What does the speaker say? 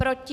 Proti?